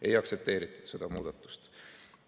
Ei aktsepteeritud seda muudatust.